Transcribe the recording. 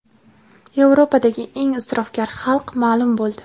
Yevropadagi eng isrofgar xalq ma’lum bo‘ldi.